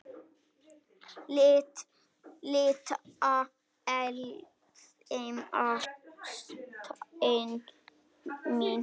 Litla eldfima ástin mín.